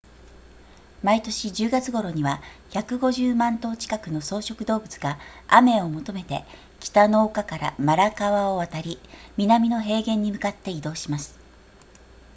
毎年10月頃には150万頭近くの草食動物が雨を求めて北の丘からマラ川を渡り南の平原に向かって移動します